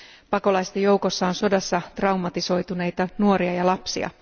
Pakolaisten joukossa on sodassa traumatisoituneita nuoria ja lapsia.